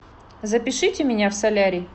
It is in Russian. запишите меня в солярий